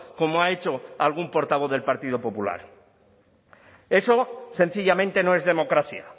como ha hecho algún portavoz del partido popular eso sencillamente no es democracia